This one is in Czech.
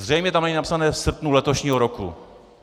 Zřejmě tam není napsané - v srpnu letošního roku.